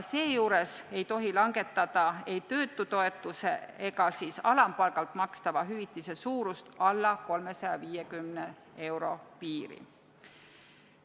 Seejuures ei tohi langetada ei töötutoetuse ega siis alampalgalt makstava hüvitise suurust alla 350 euro piiri.